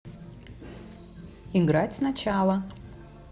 играть сначала